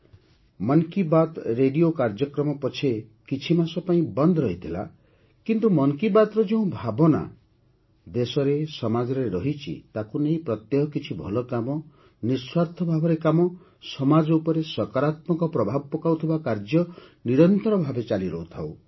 'ମନ୍ Ki Baat' radio କାର୍ଯ୍ୟକ୍ରମ ପଛେ କିଛି ମାସ ପାଇଁ ବନ୍ଦ ରହିଥିଲା କିନ୍ତୁ 'ମନ୍ କି ବାତ୍'ର ଯେଉଁ ଭାବନା ଦେଶରେ ସମାଜରେ ରହିଛି ତାକୁ ନେଇ ପ୍ରତ୍ୟହ କିଛି ଭଲ କାମ ନିଃସ୍ୱାର୍ଥ ଭାବରେ କାମ ସମାଜ ଉପରେ ସକାରାତ୍ମକ ପ୍ରଭାବ ପକାଉଥିବା କାର୍ଯ୍ୟ ନିରନ୍ତର ଭାବେ ଚାଲି ରହୁଥାଉ